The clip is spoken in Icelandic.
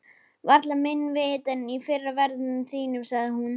Varla minna vit en í fyrri ferðum þínum, sagði hún.